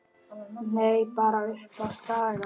Nei, bara uppi á Skaga.